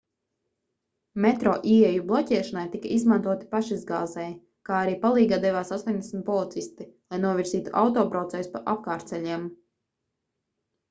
metro ieeju bloķēšanai tika izmantoti pašizgāzēji kā arī palīgā devās 80 policisti lai novirzītu autobraucējus pa apkārtceļiem